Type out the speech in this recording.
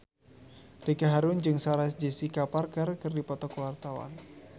Ricky Harun jeung Sarah Jessica Parker keur dipoto ku wartawan